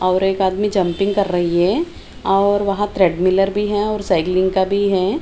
और एक आदमी जंपिंग कर रही है और वहाँ ट्रेडमिलर भी है और साइकलिंग का भी हैं।